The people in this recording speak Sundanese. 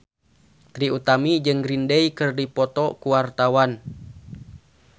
Trie Utami jeung Green Day keur dipoto ku wartawan